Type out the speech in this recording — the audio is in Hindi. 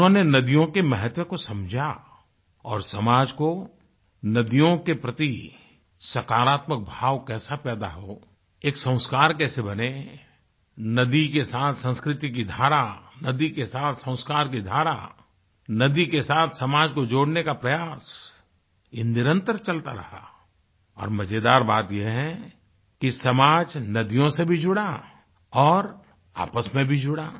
उन्होंने नदियों के महत्व को समझा और समाज को नदियों के प्रति सकारात्मत भाव कैसा पैदा हो एक संस्कार कैसे बनें नदी के साथ संस्कृति की धारा नदी के साथ संस्कार की धारा नदी के साथ समाज को जोड़ने का प्रयास ये निरंतर चलता रहा और मजेदार बात ये है कि समाज नदियों से भी जुड़ा और आपस में भी जुड़ा